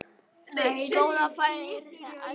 Góða ferð, gæskur.